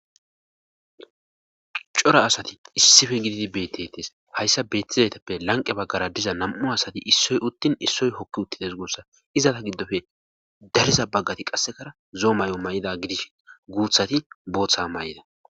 cora asati issife gididi bettettes hayssa beettizaytappe lanqe baggara diza nam7u asati issoy uttin issoy hokki uttides goossa izata giddofe dariza baggati qassekara zoo may7o may7ida gidish guuthati booththa may7ida